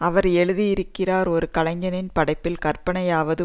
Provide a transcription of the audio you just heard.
அவர் எழுதுயிகிறார் ஒரு கலைஞனின் படைப்பியல் கற்பனையாவது